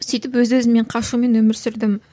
сөйтіп өз өзімнен қашумен өмір сүрдім